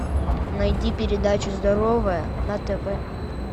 найди передачу здоровое на тв